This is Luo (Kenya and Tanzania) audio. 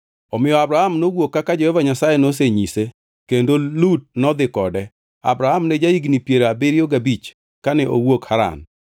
Omiyo Abram nowuok kaka Jehova Nyasaye nosenyise kendo Lut nodhi kode. Abram ne ja-higni piero abiriyo gabich kane owuok Haran.